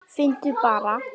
Finndu bara!